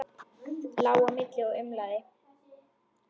Lá á milli og umlaði.